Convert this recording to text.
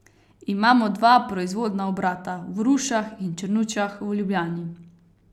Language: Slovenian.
Imamo dva proizvodna obrata, v Rušah in Črnučah v Ljubljani.